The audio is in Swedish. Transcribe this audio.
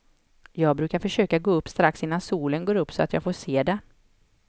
Jag brukar försöka gå upp strax innan solen går upp så jag får se det.